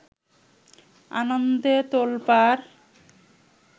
আনন্দে তোল্পাড়